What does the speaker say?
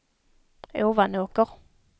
Ovanåker